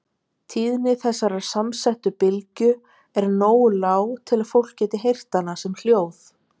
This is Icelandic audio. Tíðni þessarar samsettu bylgju er nógu lág til að fólk geti heyrt hana sem hljóð.